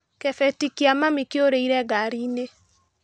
Kĩbeti kia mami kĩũrĩire ngariinĩ.